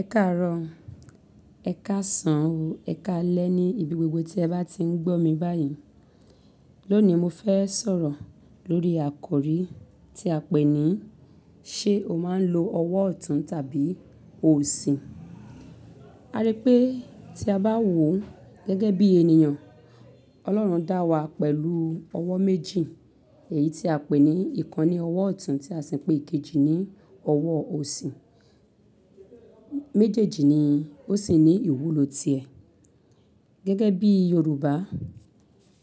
Ẹ káàárọ̀, ẹ̀ káàsán, o ẹ̀ káalẹ́ ní ibi gbogbo tí ẹ bá ti ń gbọ́ mi báyìí. Lónìí mo fẹ́ sọ̀rọ̀ lórí àkọ rí tí a pè ní ṣe o máa ń lo ọwọ́ ọ̀tún tàbí òsì? A rí pé tí a bá wò ó gẹ́gẹ́ bí ènìyàn, Ọlọ́run dá wa pẹ̀lú ọwọ́ méjì, èyí tí a pè ní ìkan ní ọwọ́ ọ̀tún tí a sì ń pè ikejì ní ọwọ́ òsì. Méjèèjì ni ó sì ní ìwúlò ti ẹ. Gẹ́gẹ́ bí Yoruba,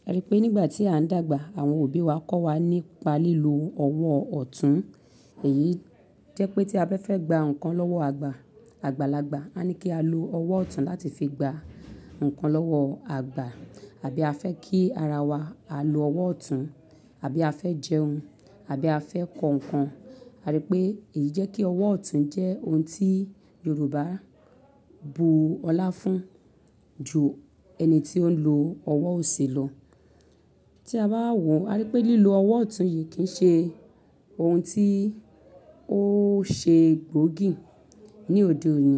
a rí pé nígbà tí à ń dàgbà, àwọn òbí wa kọ́ wa nípa lílo ọwọ́ ọ̀tún. Èyí jẹ́ pé tí a bẹ́ fẹ́ gba nǹkan lọ́wọ́ àgbà, àgbàlagbà, wà ní kí á lo ọwọ́ ọ̀tún láti fi gba nǹkan lọ́wọ́ àgbà. Àbí a fẹ́ kí ara wa, á lo ọwọ́ ọ̀tún, àbí a fẹ́ jẹun, àbí a fẹ́ kọ nǹkan, a rí pé èyí jẹ́ kí ọwọ́ ọ̀tún jẹ́ ohun tí Yoruba bu ọlá fún ju ẹni tí ó ń lo ọwọ́ òsì lọ. Tí a bá wò ó, a rí pé lílo ọwọ́ ọ̀tún yìí kì í ṣe ohun tí ó ṣe gboògì ní òde òní.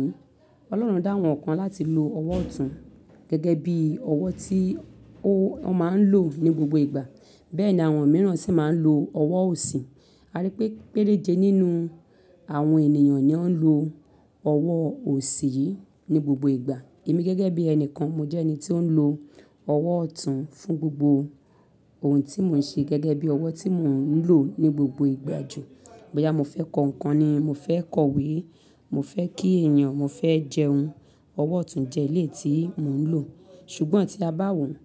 Ọlọ́run dá wọn kán láti lo ọwọ́ ọ̀tún gẹ́gẹ́ bí ọwọ́ tí ó, wọn máa ń lò ní gbogbo ìgbà. Bẹ́ẹ̀ ni àwọn mìíràn sì máa ń lo ọwọ́ òsì. A rí pé péréje nínú àwọn ènìyàn ni ó ń lo ọwọ́ òsì yìí ní gbogbo ìgbà. Èmi gẹ́gẹ́ bí ẹnìkan, mo jẹ́ ẹni tí ó ń lo ọwọ́ ọ̀tún fún gbogbo ohun tí mò ń ṣe gẹ́gẹ́ bí ọwọ́ tí mò ń lò ní gbogbo ìgbà jù. Bóyá mo fẹ́ kọ nǹkan ni, mo fẹ́ kọ̀wé, mo fẹ́ kí ènìyàn, mo fẹ́ jẹun, ọwọ́ ọ̀tún jẹ́ éléyì tí mò ń lò. Ṣùgbọ́n tí a bá wò ó,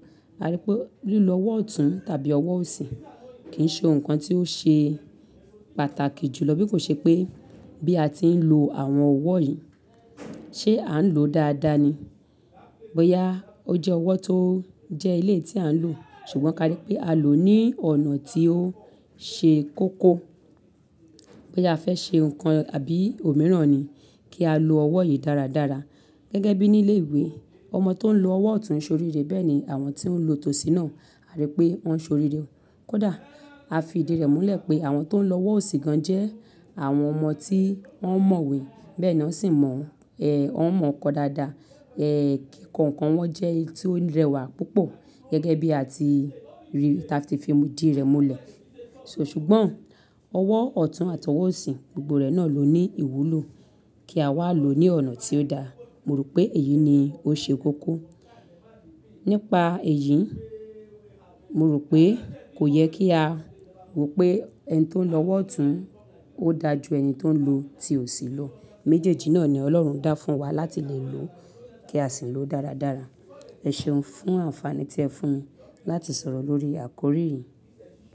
a rí pé lílo ọwọ́ ọ̀tún tàbí ọwọ́ òsì kì í ṣe ohun kan tí ó ṣe pàtàkì jùlọ. Bí kò ṣe pé bí a ti ń lo àwọn ọwọ́ yìí, ṣe à ń lò ó dáadáa ni. Bóyá ó jẹ́ ọwọ́ tó jẹ́ éléyì tí à ń lò, ṣùgbọ́n ka rí pé á lò ó ní ọ̀nà tí ó ṣe kókó. Bóyá a fẹ́ ṣe nǹkan àbí òmíràn ni kí á lo ọwọ́ yìí dáradára. Gẹ́gẹ́ bí ní ilé ìwé, ọmọ tó ń lo ọwọ́ ọ̀tún ṣoríre, bẹ́ẹ̀ ni àwọn tí ó ń lo tòsín náà, a rí pé wọ́n ṣoríre kódà. A fi ìdí rẹ̀ múlẹ̀ pé àwọn tó ń lo ọwọ́ òsì gan jẹ́ àwọn ọmọ tí wọ́n mọ̀wé, bẹ́ẹ̀ ni wọ́n sì mọ̀, wọ́n mọ̀ ọ́n kọ dáadáa. Kí kò nǹkan wọn jẹ́ eyi tí ó rẹwà púpọ̀ gẹ́gẹ́ bí a ti rí, tà ti fi ìdí rẹ̀ múlẹ̀. So ṣùgbọ́n ọwọ́ ọ̀tún àti ọwọ́ òsì, gbogbo rẹ̀ náà ló ní ìwúlò kí a wá lò ó ní ọ̀nà tí ó da. Mo rò pé èyí ni ó ṣe kókó. Nípa èyí, mo rò pé kò yẹ kí a wò pé ẹni tó ń lo ọwọ́ ọ̀tún ó da ju ẹni tó ń lo ti òsì lọ. Méjèèjì náà ni Ọlọ́run dá fún wa láti lè lò ó kí a sì lò ó dáradára. Ẹ ṣeun fún àǹfààní tí ẹ fún mi láti sọ̀rọ̀ lórí àkórí yìí.